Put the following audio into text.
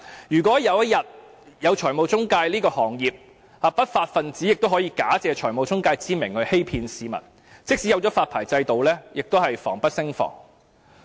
如果有一天，正式有了財務中介這個行業，不法分子也可以假借財務中介之名來欺騙市民，即使政府設立了發牌制度也是防不勝防。